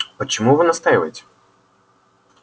почему вы настаиваете